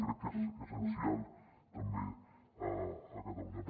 crec que és essencial també a catalunya